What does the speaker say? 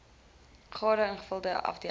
gade ingevulde afdeling